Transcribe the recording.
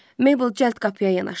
Mabel cəld qapıya yanaşdı.